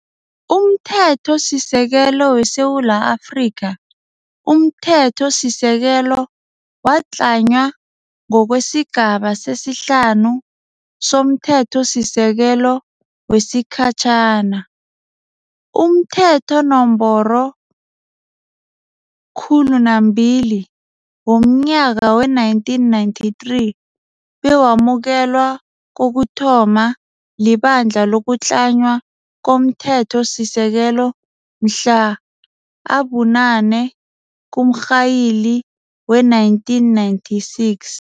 UmThethosisekelo weSewula Afrika. UmThethosisekelo watlanywa ngokweSigaba sesi-5 somThethosisekelo wesikhatjhana, umThetho Nomboro 200 womNyaka we-1993, bewamukelwa kokuthoma liBandla lokuTlanywa komThethosisekelo mhlana abu-8 kuMrhayili we-1996.